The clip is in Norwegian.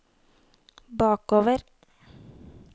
bakover